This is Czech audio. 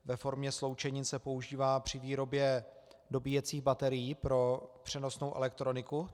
Ve formě sloučenin se používá při výrobě dobíjecích baterií pro přenosnou elektroniku.